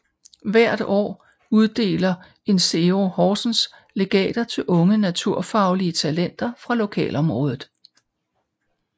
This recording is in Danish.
Hvert år uddeler Insero Horsens legater til unge naturfaglige talenter fra lokalområdet